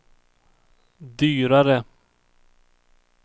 dyrare